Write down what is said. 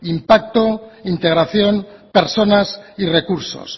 impacto integración personas y recursos